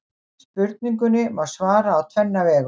Spurningunni má svara á tvenna vegu.